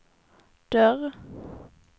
dörr